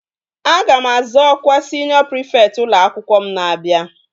Aga m azọ ọkwa siniọ prịfekt ụlọ akwụkwọ m na-abịa